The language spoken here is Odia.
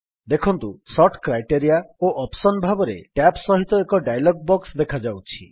ଦେଖନ୍ତୁ ସୋର୍ଟ କ୍ରାଇଟେରିଆ ଓ ଅପସନ ଭାବରେ ଟ୍ୟାବ୍ ସହିତ ଏକ ଡାୟଲଗ୍ ବକ୍ସ ଦେଖାଯାଉଛି